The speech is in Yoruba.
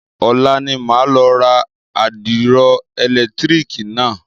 Ọ̀la ni màá lọ ra àdìro ẹ̀lẹ̀tírìkì náà.